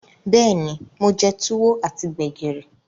Beeni, mo je Tuwo ati Gbẹ̀gìrì.